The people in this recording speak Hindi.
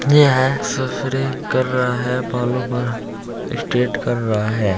ये है सप्रे कर रहा है बालो पर स्ट्रेट कर रहा है।